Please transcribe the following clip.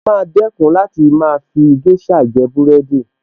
Ṣé o máa dẹ̀kun láti máa fi géṣà jẹ búrẹ́dì